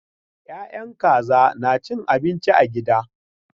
Ya'yan kaza na cin abinci a gida.